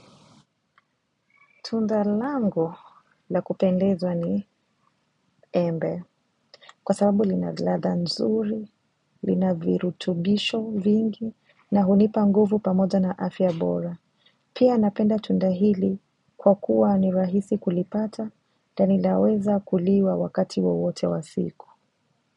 Tunda langu la kupendeza ni embe kwa sababu lina ladha nzuri, lina virutubisho vingi na hunipa nguvu pamoja na afya bora. Pia napenda tunda hili kwa kuwa ni rahisi kulipata na linaweza kuliwa wakati wowote wa siku.